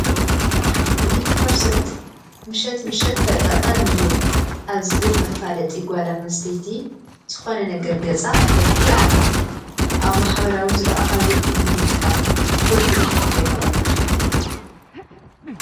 ሚእቲ ፐርሰን ምሸት ምሸት ተጠቐሚዮ ኣብ ዝብል መፋለጢ ጓል ኣነስተይቲ ዝኾነ ነገር ገፃ ትለኪ ኣላ፡፡ ኣብ ማሕበራዊ ዝርአኻዮ ኩሉ ምጥቃም ክጎድእ ይኽል ዶ ይኾን?